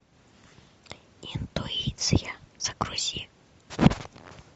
интуиция загрузи